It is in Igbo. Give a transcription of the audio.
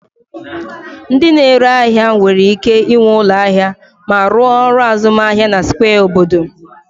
Ndị na-ere ahịa nwere ike ịnwe ụlọ ahịa ma rụọ ọrụ azụmahịa na square obodo